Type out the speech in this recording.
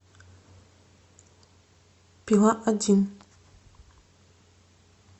пила один